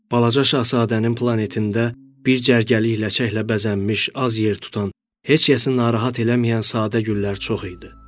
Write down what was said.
Balaca şahzadənin planetində bir cərgəli ləçəklə bəzənmiş, az yer tutan, heç kəsin narahat eləməyən sadə güllər çox idi.